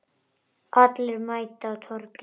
Allir mæta á Torginu